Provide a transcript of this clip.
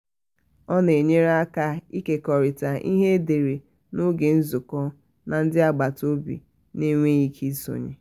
ọ na-enyere aka ịkekọrịta ihe edere n'oge nzụkọ na ndi agbata obi na-enweghị ike isonye.